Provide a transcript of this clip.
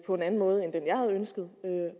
på en anden måde end jeg havde ønsket